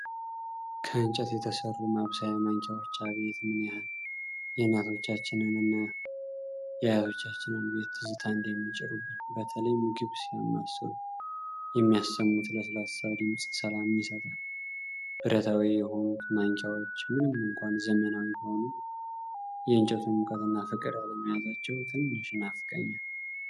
ከእንጨት የተሰሩ ማብሰያ ማንኪያዎች! አቤት ምን ያህል የእናቶቻችንን እና የአያቶቻችንን ቤት ትዝታ እንደሚጭሩብኝ! በተለይ ምግብ ሲያማስሉ የሚያሰሙት ለስላሳ ድምጽ ሰላምን ይሰጣል። ብረታዊ የሆኑት ማንኪያዎች ምንም እንኳን ዘመናዊ ቢሆኑም፣ የእንጨቱን ሙቀትና ፍቅር አለመያዛቸው ትንሽ ይናፍቀኛል።